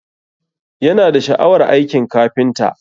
Yana da sha'awar aikin kafinta